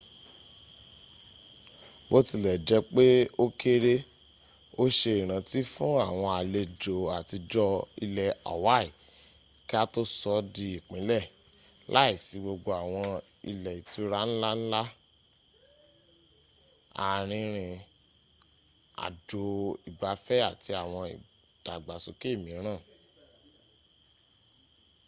bó tilẹ̀ jẹ́pẹ́ o kéré́ o se ìrántí fún àwọn àlẹjò àtijọ́ ilẹ̀ hawaii kí a tó sọ di ìpínlẹ,̀ láìsí gbogbo àwọn ilẹ́ ìtura nlanla arìnrìn àjò ìgbafẹ́ àti àwọn ìdàgbàsókè míràn